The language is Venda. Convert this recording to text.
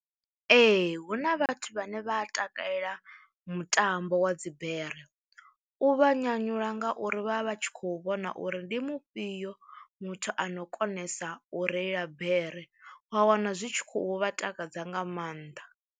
Ee hu na vhathu vhane vha a takalela mutambo wa dzibere, u vha nyanyula ngauri vha vha vha tshi khou vhona uri ndi mufhio muthu ano konesa u reila bere wa wana zwi tshi khou vha takadza nga maanḓa.